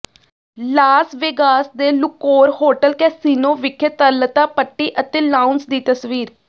Las Vegas ਦੇ Luxor hotel casino ਵਿਖੇ ਤਰਲਤਾ ਪੱਟੀ ਅਤੇ ਲਾਉਂਜ ਦੀ ਤਸਵੀਰ